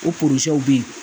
O bɛ yen